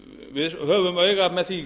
við höfum auga með því